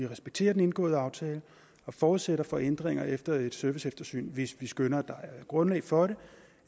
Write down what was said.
vi respekterer den indgåede aftale og forudsætter for ændringer efter et serviceeftersyn hvis vi skønner at der er grundlag for det